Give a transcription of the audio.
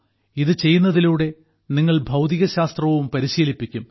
ഇത് ചെയ്യുന്നതിലൂടെ നിങ്ങൾ ഭൌതികശാസ്ത്രവും പരിശീലിപ്പിക്കും